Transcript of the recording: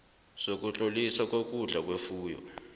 sokutloliswa kokudla kwefuyo